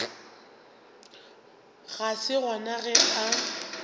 ga se gona ge a